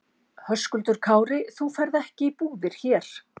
Höskuldur Kári: Þú ferð ekki í búðir hér?